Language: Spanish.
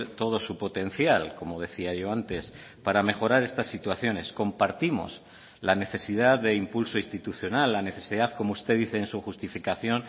todo su potencial como decía yo antes para mejorar estas situaciones compartimos la necesidad de impulso institucional la necesidad como usted dice en su justificación